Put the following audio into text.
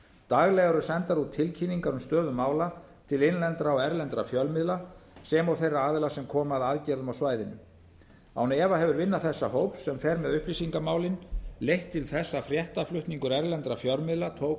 daglega eru sendar út tilkynningar um stöðu mála til innlendra og erlendra fjölmiðla sem og þeirra aðila sem koma að aðgerðum á svæðinu án efa hefur vinna þessa hóps sem fer með upplýsingamálin leitt til þess að fréttaflutningur erlendra fjölmiðla tók